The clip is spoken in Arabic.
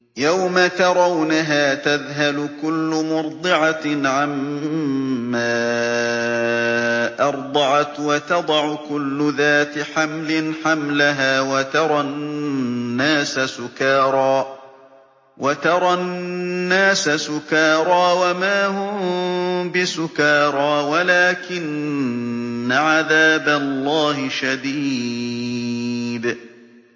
يَوْمَ تَرَوْنَهَا تَذْهَلُ كُلُّ مُرْضِعَةٍ عَمَّا أَرْضَعَتْ وَتَضَعُ كُلُّ ذَاتِ حَمْلٍ حَمْلَهَا وَتَرَى النَّاسَ سُكَارَىٰ وَمَا هُم بِسُكَارَىٰ وَلَٰكِنَّ عَذَابَ اللَّهِ شَدِيدٌ